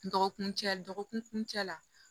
Dɔgɔkun cɛ dɔgɔkun cɛ la